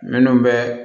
Minnu bɛ